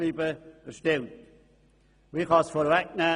Ich kann es vorwegnehmen: